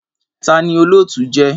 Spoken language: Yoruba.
Tani olootu jẹ?